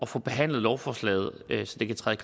få behandlet lovforslaget så det kan træde